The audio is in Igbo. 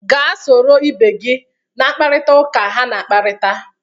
Gaa soro ibe gị na mpkarịta ụka ha na-akparịta!